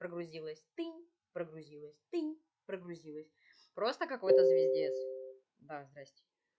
прогрузилось тынь прогрузилось тынь прогрузилось просто какой-то звиздец да здравствуйте